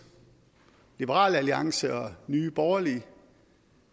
liberal alliance og nye borgerlige